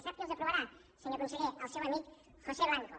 sap qui els aprovarà senyor conseller el seu amic josé blanco